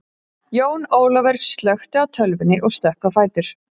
Jón Ólafaur slökkti á tölvunni og stökk á fætur.